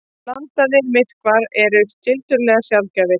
Blandaðir myrkvar eru tiltölulega sjaldgæfir.